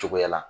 Cogoya la